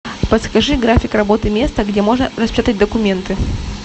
подскажи график работы места где можно распечатать документы